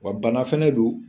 Wa bana fɛnɛ don